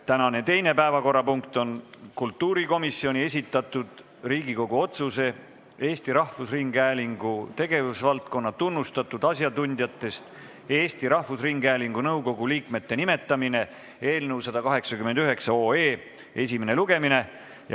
Tänane teine päevakorrapunkt on kultuurikomisjoni esitatud Riigikogu otsuse "Eesti Rahvusringhäälingu tegevusvaldkonna tunnustatud asjatundjatest Eesti Rahvusringhäälingu nõukogu liikmete nimetamine" eelnõu 189 esimene lugemine.